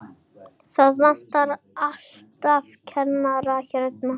Það vantar alltaf kennara hérna.